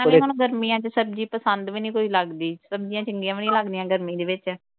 ਨਾਲੇ ਹੁਣ ਗਰਮੀਆਂ ਵਿਚ ਸਬਜ਼ੀ ਪਸੰਦ ਵੀ ਨਹੀ ਕੋਈ ਲਗਦੀ। ਸਬਜ਼ੀਆਂ ਚੰਗੀਆਂ ਵੀ ਨਹੀ ਲੱਗਦੀਆਂ ਗਰਮੀ ਦੇ ਵਿਚ।